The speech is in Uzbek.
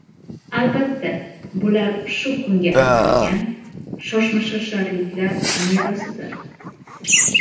Albatta, bular shu kunga atalgan shoshmashosharliklar mevasidir.